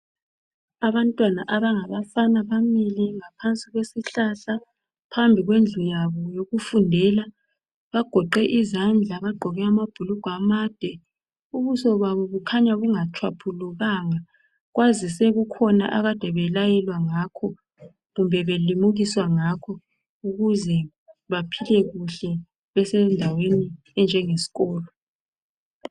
Abantwana abangabafana bamile ngaphansi kwesihlahla phambi kwendlu yabo yokufundela. Bagoqe izandla bagqoke amabhulugwe amade, ubuso babo bukhanya bungatshwaphulukanga kwazise kukhona abakade belayelwa ngakho kumbe belimukiswa ngakho ukuze baphile kuhle basendaweni enjenge sikolo.